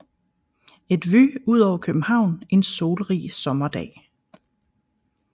Et vue udover København en solrig sommerdag